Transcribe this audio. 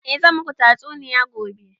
A zan maku tatsuniya gobe